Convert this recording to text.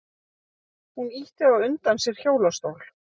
Hún ýtti á undan sér hjólastól.